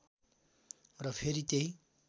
र फेरि त्यही